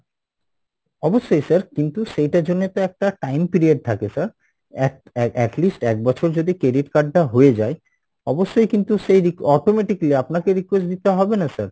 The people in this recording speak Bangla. অবশ্যই sir কিন্তু সেইটার জন্যে তো একটা time period থাকে sir, a~atleast এক বছর যদি credit card টা হয়ে যাই, অবশ্যই কিন্তু সেই automatically আপনাকে request দিতে হবে না sir,